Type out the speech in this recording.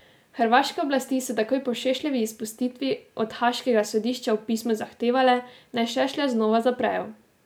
Hrvaške oblasti so takoj po Šešljevi izpustitvi od haaškega sodišča v pismu zahtevale, naj Šešlja znova zaprejo.